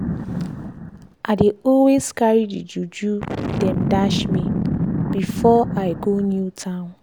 i dey always carry the juju dem dash me before i go new town.